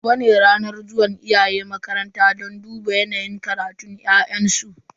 Gobe ne ranar zuwan iyaye makaranta don duba yanayin karatun yaransu.